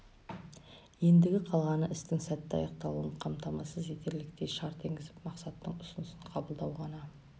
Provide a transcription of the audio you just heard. ендігі қалғаны істің сәтті аяқталуын қамтамасыз етерліктей шарт енгізіп мақсаттың ұсынысын қабылдау ғана